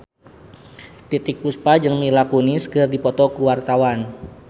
Titiek Puspa jeung Mila Kunis keur dipoto ku wartawan